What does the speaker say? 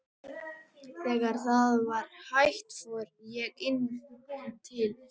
Þegar það var hætt fór ég inn til